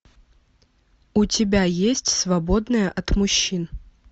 у тебя есть свободная от мужчин